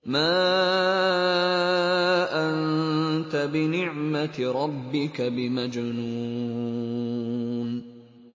مَا أَنتَ بِنِعْمَةِ رَبِّكَ بِمَجْنُونٍ